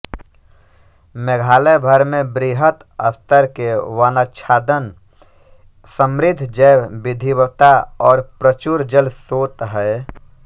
मेघालय भर में वृहत स्तर के वनाच्छादन समृद्ध जैव विविधता और प्रचुर जल सोत हैं